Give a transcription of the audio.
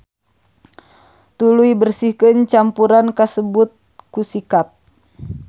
Tuluy bersihkeun campuran kasebut ku sikat.